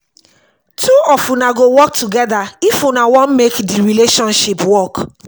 two of una go work togeda if una wan make di relationship work.